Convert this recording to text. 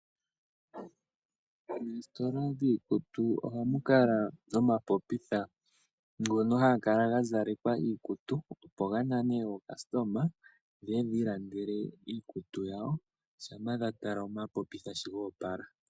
Moositola dhiikutu oha mu kala omapopitha ga zalekwa iikutu opo ga nane aalandi ye ye yi ilandele iikutu yawo ngele ya tala omapopitha sho goopala.